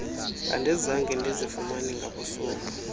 andizange ndizifumane ngabusuku